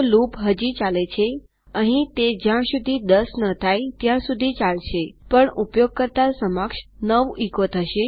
તો લૂપ હજી ચાલે છેઅહીં તે જ્યાં સુધી ૧૦ ન થાય ત્યાં સુધી ચાલશેપણ ૯ ઉપયોગકર્તા સમક્ષ એચો થશે